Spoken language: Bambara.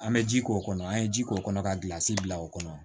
An bɛ ji k'o kɔnɔ an ye ji k'o kɔnɔ ka gilan si bila o kɔnɔ